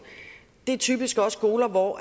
det er typisk også skoler hvor